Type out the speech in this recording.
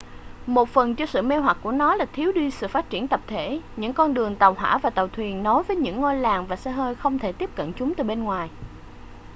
một phần cho sự mê hoặc của nó là thiếu đi sự phát triển tập thể những con đường tàu hỏa và tàu thuyền nối với những ngôi làng và xe hơi không thể tiếp cận chúng từ bên ngoài